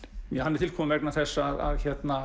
hann er til kominn vegna þess að